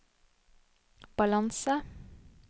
balanse